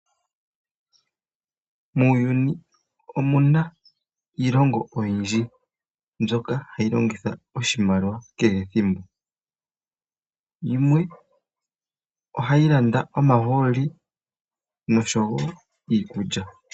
Muuyuni omuna iilongo oyindji mbyoka hayi longitha oshimaliwa kehe ethimbo, yimwe ohayi landa omahooli nosho woo iikulya.